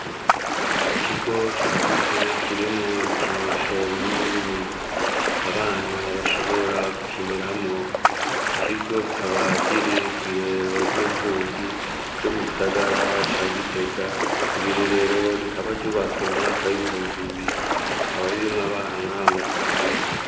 Ikigo cagutse kirimwo ibikinisho binini binini .Abana bashobora gukiniramo iki kigo kikaba kiri ku irero ry'imfuvyi ryo mu gisagara ca Gitega iri ri rero rikaba ryubatswe mu mwaka w'ibihumbi bibiri rikaba ririmwe abana amajana abiri.